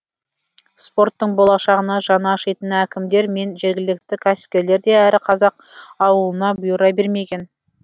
спорттың болашағына жаны ашитын әкімдер мен жергілікті кәсіпкерлер де әр қазақ ауылына бұйыра бермеген